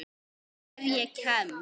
Ef ég kemst.